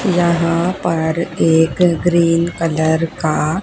यहां पर एक ग्रीन कलर का--